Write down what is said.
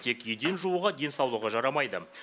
тек еден жууға денсаулығы жарамайды